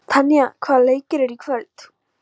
Tanja, hvaða leikir eru í kvöld?